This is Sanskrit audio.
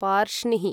पार्ष्णिः